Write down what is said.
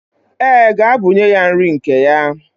Ee, gaa bunye ya nri nke ya.